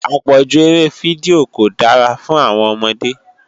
Àpọ̀jù eré fídíò kò dára fún àwọn ọmọdé